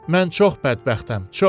Mən çox bədbəxtəm, çox.